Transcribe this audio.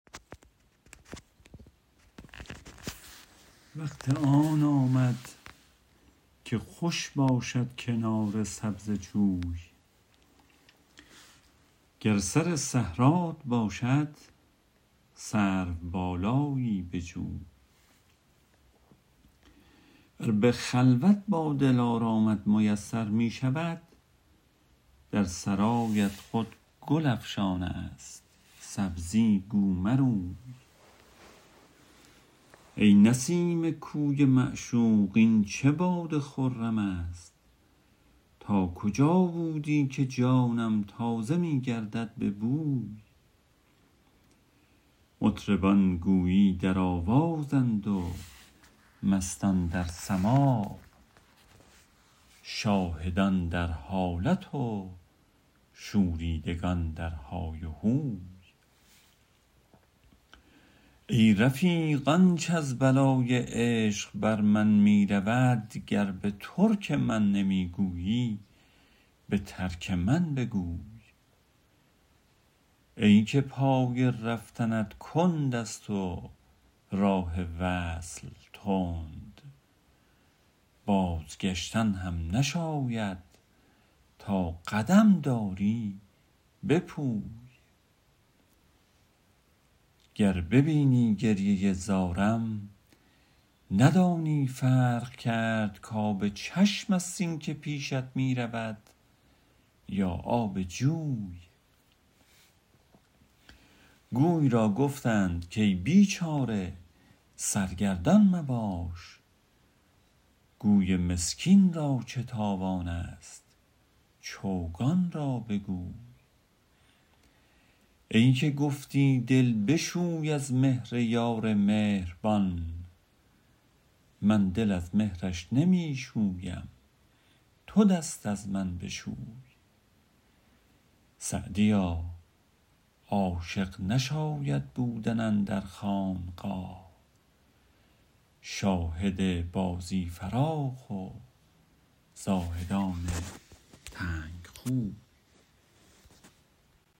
وقت آن آمد که خوش باشد کنار سبزه جوی گر سر صحرات باشد سروبالایی بجوی ور به خلوت با دلارامت میسر می شود در سرایت خود گل افشان است سبزی گو مروی ای نسیم کوی معشوق این چه باد خرم است تا کجا بودی که جانم تازه می گردد به بوی مطربان گویی در آوازند و مستان در سماع شاهدان در حالت و شوریدگان در های و هوی ای رفیق آنچ از بلای عشق بر من می رود گر به ترک من نمی گویی به ترک من بگوی ای که پای رفتنت کند است و راه وصل تند بازگشتن هم نشاید تا قدم داری بپوی گر ببینی گریه زارم ندانی فرق کرد کآب چشم است این که پیشت می رود یا آب جوی گوی را گفتند کای بیچاره سرگردان مباش گوی مسکین را چه تاوان است چوگان را بگوی ای که گفتی دل بشوی از مهر یار مهربان من دل از مهرش نمی شویم تو دست از من بشوی سعدیا عاشق نشاید بودن اندر خانقاه شاهد بازی فراخ و زاهدان تنگ خوی